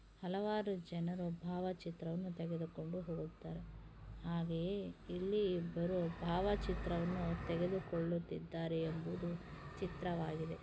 ಹಲವಾರು ಜನರು ಭಾವಚಿತ್ರ ತೆಗೆದುಕೊಂಡು ಹೋಗ್ತಾರೆ. ಹಾಗೆ ಇಲ್ಲಿ ಬರೋ ಭಾವ ಚಿತ್ರವೂ ತೆಗೆದುಕೊಳ್ಳುತಿದ್ದರೆ ಎಂಬುದು ಚಿತ್ರವಾಗಿದೆ.